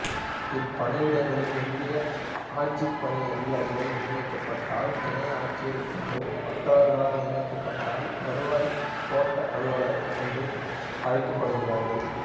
இப்பணியிடங்களில் இந்திய ஆட்சிப்பணி அதிகாரிகள் நியமிக்கப்பட்டால் துணை ஆட்சியர் என்றும் மற்றவர்கள் நியமிக்கப்பட்டால் வருவாய்க் கோட்ட அலுவலர் என்றும் அழைக்கப்படுகிறார்கள்